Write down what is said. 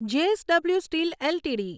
JSW steel LTD